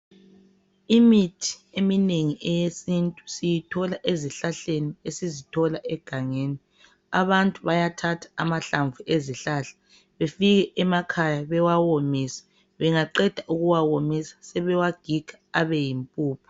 Imithi eminengi eyesintu siyithola ezihlahleni esizithola egangeni. Abantu bayathatha amahlamvu ezihlahla, befike emakhaya bewawomise .bengaqeda ukuwawomisa sebewagiga Abe yimpuphu.